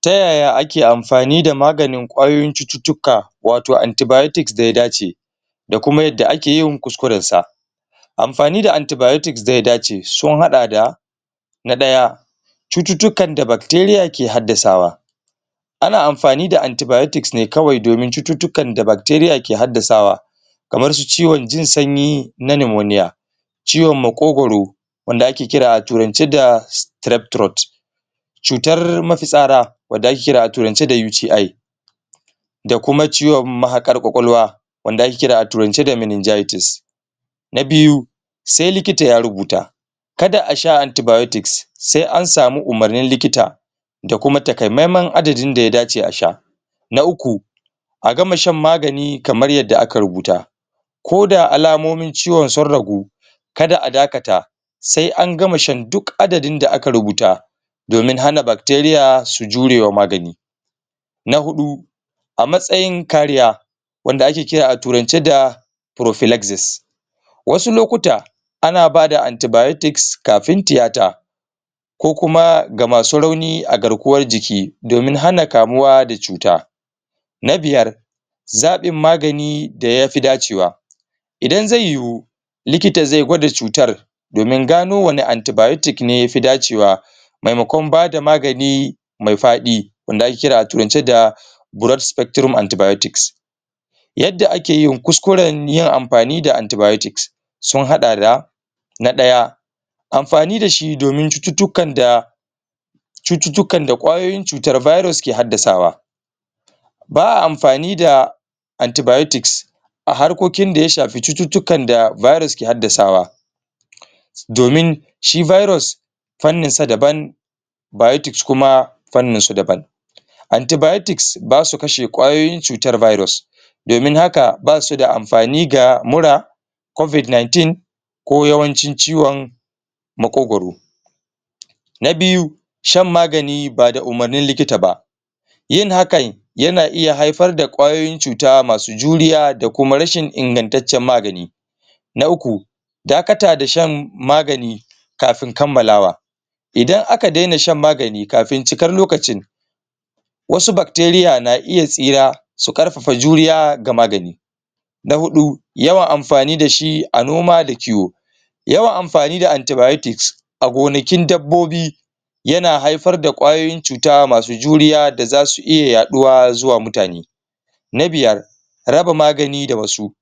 Ta yaya ake amfani da maganin kwayoyin cututuka wato antibiotics da ya dace da kuma yade ake yin kuskuren sa amfani da antibiotics da ya dace sun hada da na daya cututukan da bacteria ke hadasawa ana amfani da antibiotics ne kawai domin cututukan da bacteria ke hadasawa kamar su ciwon jin sanyi na pneumonia ciwon makogoro wanda ake kira a turance da strep throat cutar mafitsada wanda ake kira a turance da UTI da kuma ciwon mahakar kwakwalwa wanda ake kira a turance da meningitis na biyu sai likita ya rubuta kada a sha antibiotics sai an samu umarnin likita da kuma takaimaimain adadin da ya dace a sha na uku a gama shan magani kamar yada aka rubuta ko da alamomin ciwon sun ragu kada a dakata sai an gama shan, duk adadin da aka rubuta domin hana bacteria su jure wa magani na hudu a matsayin kariya wanda ake kira a turance da prophylaxis wasu lokuta ana bada antibiotics kafin tiyata ko kuma ga masu rauni a garkuwan jiki domin hana kamuwa da cuta na biyar zabin magani da ya fi dacewa idan zai yuwu likita zai gwada cutar domin gano wane antibiotic ne ya fi dacewa maimakon bada magani mai fadi wanda ake kira a turance da broad spectrum antibiotics yada ake yin kuskuren yin amfani da antibiotics sun hada da na daya amfani da shi domin cututukan da cututukan da kwayoyin cutan virus ke hadasawa ba a amfani da antibiotics a harkokin da ya shafi cututukan da virus ke hadasawa domin shi virus fannin sa daban biotics kuma fannin su daban antibiotics ba su kashe kwayoyin cutar virus domin haka, ba su da amfani ga mura covid 19 ko yawancin ciwon makogoro na biyu shan magani ba da umarnin likita ba yin hakan yi na iya haifar da kwayoyin cuta masu juriya da kuma rashin ingantancen magani na uku dakata da shan magani kafin kamalawa idan aka dena shan magani kafin cikar lokacin wasu bacteria na iya tsira su karfafa juriya ga magani na hudu yawan amfani da shi a noma da kiwo yawan amfani da antibiotics a gonakin dabobi ya na haifar da kwayoyin cuta masu juriya da za su iya yaduwa zuwa mutane na biyar raba magani da wasu